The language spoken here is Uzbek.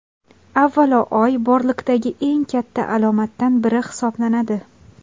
Avvalo, oy borliqdagi eng katta alomatdan biri hisoblanadi.